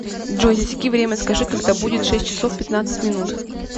джой засеки время скажи когда будет шесть часов пятнадцать минут